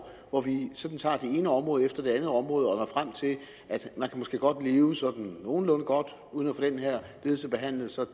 hvor vi sådan tager det ene område efter det andet område og når frem til at man måske godt kan leve sådan nogenlunde godt uden at få den her lidelse behandlet så